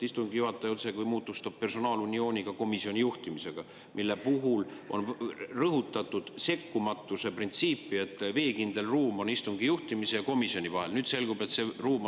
Istungi juhataja otsekui moodustab personaaluniooni ka komisjoni juhtimisega, mille puhul on rõhutatud sekkumatuse printsiipi, et istungi juhtimise ja komisjoni vahel on veekindel ruum.